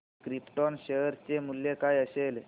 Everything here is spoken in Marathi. क्रिप्टॉन शेअर चे मूल्य काय असेल